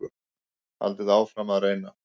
Haldið áfram að reyna.